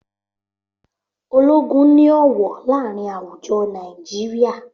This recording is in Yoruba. Ológun ni ọwọ láàrin àwùjọ Nàìjíríà